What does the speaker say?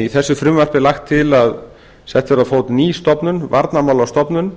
í þessu frumvarpi er lagt til að sett verði á fót ný stofnun varnarmálastofnun